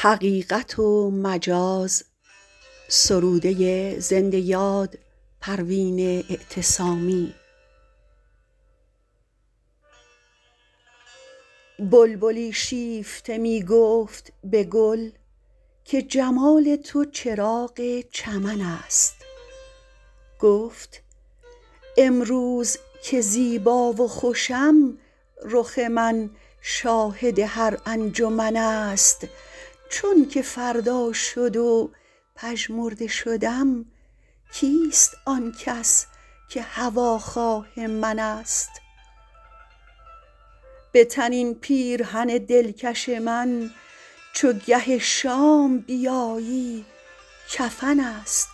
بلبلی شیفته میگفت به گل که جمال تو چراغ چمن است گفت امروز که زیبا و خوشم رخ من شاهد هر انجمن است چونکه فردا شد و پژمرده شدم کیست آنکس که هواخواه من است بتن این پیرهن دلکش من چو گه شام بیایی کفن است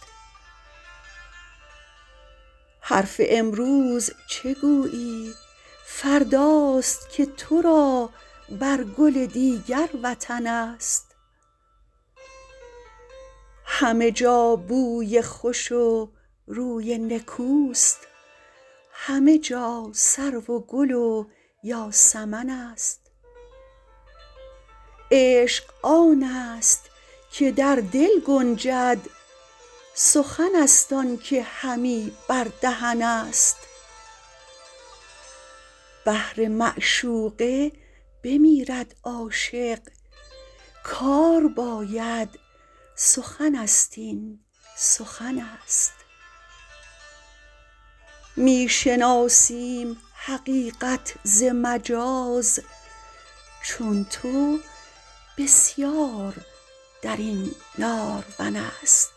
حرف امروز چه گویی فرداست که تو را بر گل دیگر وطن است همه جا بوی خوش و روی نکوست همه جا سرو و گل و یاسمن است عشق آنست که در دل گنجد سخن است آنکه همی بر دهن است بهر معشوقه بمیرد عاشق کار باید سخن است این سخن است میشناسیم حقیقت ز مجاز چون تو بسیار درین نارون است